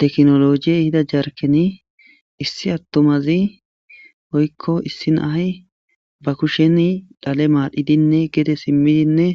teknolojiyey hida jarkeni issi attomazi oykko issi nahy ba kushen dhale maadhidinne gede simmidinne